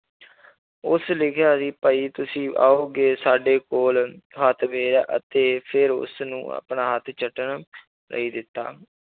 ਉਸ ਲਿਖਿਆ ਸੀ ਭਾਈ ਤੁਸੀਂ ਆਓਗੇ ਸਾਡੇ ਕੋਲ ਹੱਥ ਫੇਰਿਆ ਅਤੇ ਫਿਰ ਉਸਨੂੰ ਆਪਣਾ ਹੱਥ ਚੱਟਣ ਲਈ ਦਿੱਤਾ